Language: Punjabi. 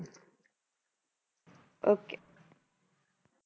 Okay